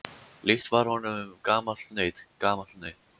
Líkt var honum gamalt naut, gamalt naut.